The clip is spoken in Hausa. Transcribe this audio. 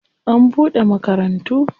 An bude makarantu.